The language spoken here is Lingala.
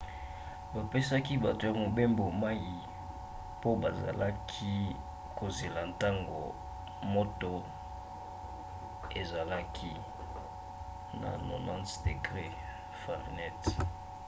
bapesaki bato ya mobembo mai mpo bazalaki kozela ntango moto ezalaki 90f-degre